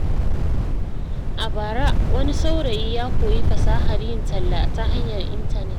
A bara, wani saurayi ya koyi fasahar yin talla ta hanyar intanet.